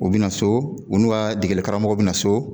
U bi na so u n'u ka degelikaramɔgɔ bi na so.